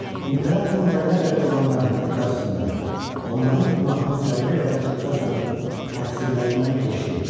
İmperatorun dərya qədər olan mərhəməti qarşısında onların günahının zərrə qədər xırda sanıb təqsirlərindən keçdi.